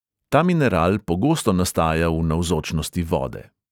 Ta mineral pogosto nastaja v navzočnosti vode.